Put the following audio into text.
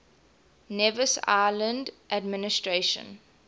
nevis island administration